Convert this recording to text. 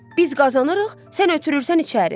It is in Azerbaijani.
Biz qazanırıq, sən ötürürsən içəri.